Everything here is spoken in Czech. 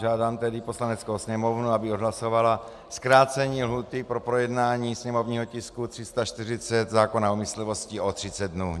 Žádám tedy Poslaneckou sněmovnu, aby odhlasovala zkrácení lhůty pro projednání sněmovního tisku 340, zákona o myslivosti, o 30 dnů.